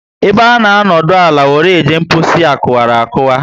Ebe a nọ adona ala were eje mposi akuwara